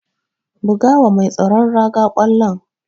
Buga wa mai tsaron raga ƙwallon.